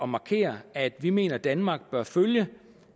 markere at vi mener at danmark bør følge